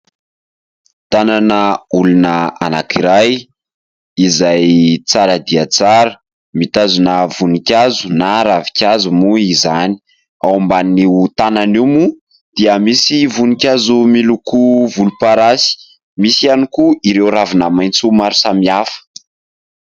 Tanan'olona anankiray izay tsara dia tsara mitazona voninkazo na ravinkazo moa izany. Ao ambanin'io tanana io moa dia misy voninkazo miloko volomparasy. Misy ihany koa ireo ravina maitso maro samihafa.